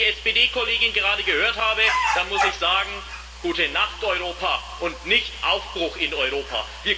Wenn ich die SPD Kollegin gerade gehört habe, dann muss ich sagen Gute Nacht, Europa, und nicht Aufbruch in Europa.